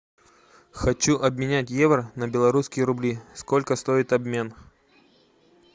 хочу обменять евро на белорусские рубли сколько стоит обмен